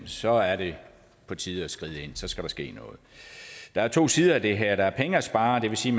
så er det på tide at skride ind så skal der ske noget der er to sider af det her der er penge at spare og det vil sige